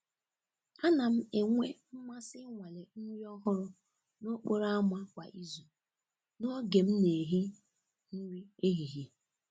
A na m enwe mmasị ịnwale nri ọhụrụ n’okporo ámá kwa izu n’oge m na-ehi nri ehihie.